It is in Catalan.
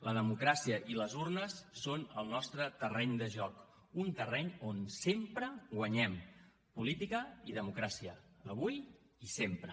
la democràcia i les urnes són el nostre terreny de joc un terreny on sempre guanyem política i democràcia avui i sempre